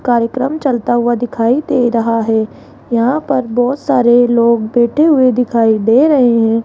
कार्यक्रम चलता हुआ दिखाई दे रहा है यहां पर बहोत सारे लोग बैठे हुए दिखाई दे रहे हैं।